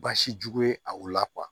Basi jugu ye a la kuwa